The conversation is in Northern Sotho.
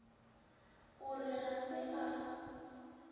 o re ga se a